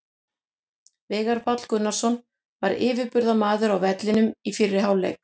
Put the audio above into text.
Veigar Páll Gunnarsson var yfirburðamaður á vellinum í fyrri hálfleik.